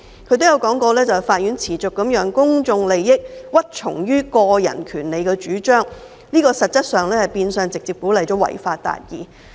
他亦提到，法院持續地讓公眾利益屈從於個人權利的主張，變相直接鼓勵"違法達義"。